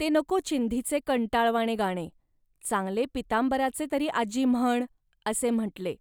ते नको चिंधीचे भिकार गाणे, चांगले पीतांबराचे तरी आजी म्हण, असे म्हटले